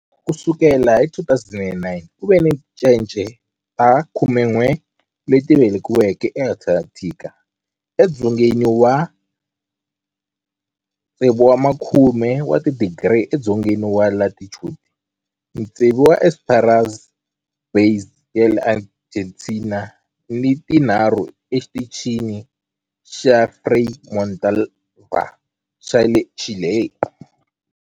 Ku sukela hi 2009, ku ve ni tincece ta 11 leti velekiweke eAntarctica, edzongeni wa 60 wa tidigri edzongeni wa latitude, tsevu eEsperanza Base ya le Argentina ni tinharhu eXitichini xa Frei Montalva xa le Chile.